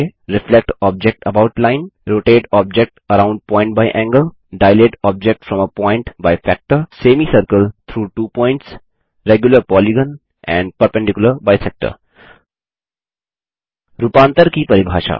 reflect object about line rotate object around point by angle dilate object from a point by factor semicircle through two points regular polygon and perpendicular bisector रूपांतर की परिभाषा